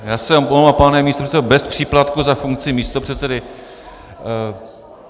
Já se omlouvám, pane místopředsedo bez příplatku za funkci místopředsedy.